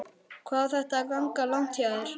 Hvað á þetta að ganga langt hjá þér?